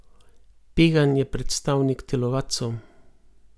Pegan je predstavnik telovadcev.